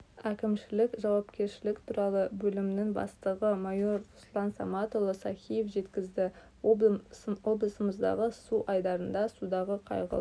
әкімшілік жауапкершілік туралы бөлімнің бастығы майор руслан саматұлы сахиев жеткізді облысымыздағы су айдындарында судағы қайғылы